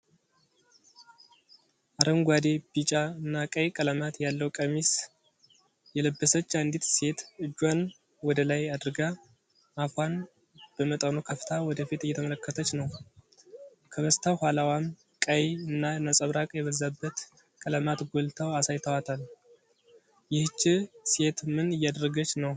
አረንጓዴ፣ ቢጫ እና ቀይ ቀለማት ያለው ቀሚስ የለበች አንዲት ሴት እጇን ወደላይ አድርጋ አፏን በመጠኑ ከፍታ ወደፊት እየተመለከተች ነው። ከበስተ ኋላዋም ቀይ እና ነጸብራቅ የበዛበት ቀለማት ጎልተው አሳይተዋታል። ይህቺ ሴት ምን እያደረገች ነው?